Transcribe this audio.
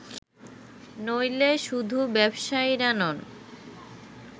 নইলে শুধু ব্যবসায়ীরা নন